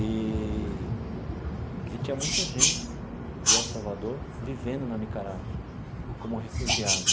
Eee e tinha muita gente de El Salvador vivendo na Nicarágua, como refugiado.